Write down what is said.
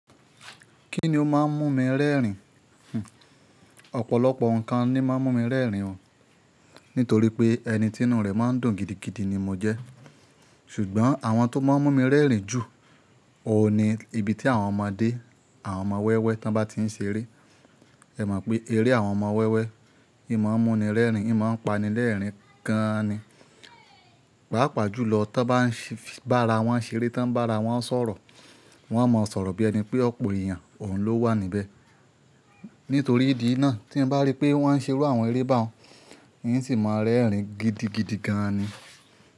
Kí ni ó máa ń mú mi rẹ́rìn? Hn, ọ̀pọ̀lọpọ̀ nǹkan ni ó máa ń mú mi rẹ́rìn o nítorí pé ẹni tí inú rẹ̀ máa ń dùn gidigidi ni mo jẹ́. Ṣùgbọ́n àwọn tó máa ń mú mi rẹ́rìn jù, òun ni ibi tí àwọn ọmọdé, àwọn ọmọ wẹ́wẹ́ tán bá ti ń ṣeré. Ẹ mọ̀ pé eré àwọn ọmọ wẹ́wẹ́, ìma máa ń múni rẹ́rìn, ìma máa ń pani lẹ́rìn gan ni. Pàápàá jùlọ tí wọ́n bá ra wọ́n ṣeré, tí wọ́n bá ra wọ́n sọ̀rọ̀, wọ́n a máa sọ̀rọ̀ bí ẹni pé ọ̀pọ̀ èèyàn, òun ló wà níbẹ̀. Nítorí ìdí náà tí n bá rí pé wọ́n ń ṣerú àwọn eré bá wọn, ìn sì máa rẹ́rìn gidigidi gan ni.